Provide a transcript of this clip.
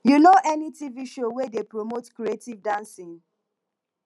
you know any tv show wey dey promote creative dancing